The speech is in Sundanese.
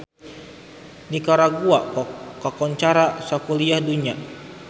Nikaragua kakoncara sakuliah dunya